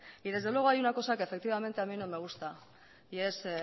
y desde luego hay una cosa que efectivamente a mi no gusta y es